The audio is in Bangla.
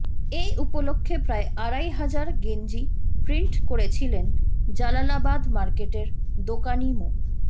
এ উপলক্ষে প্রায় আড়াই হাজার গেঞ্জি প্রিন্ট করেছিলেন জালালাবাদ মার্কেটের দোকানি মো